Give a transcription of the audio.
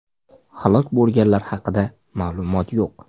Halok bo‘lganlar haqida ma’lumot yo‘q.